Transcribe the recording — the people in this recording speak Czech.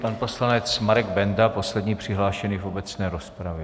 Pan poslanec Marek Benda, poslední přihlášený v obecné rozpravě.